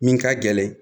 Min ka gɛlɛn